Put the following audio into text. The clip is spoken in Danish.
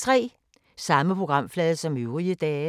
Samme programflade som øvrige dage